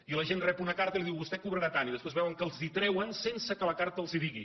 i la gent rep una carta i li diuen vostè cobrarà tant i després veuen que els ho treuen sense que la carta els ho digui